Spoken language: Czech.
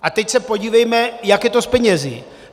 A teď se podívejme, jak je to s penězi.